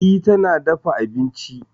E, tana dafa abinci.